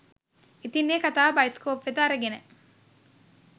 ඉතින් ඒ කතාව බයිස්කෝප් වෙත අරගෙන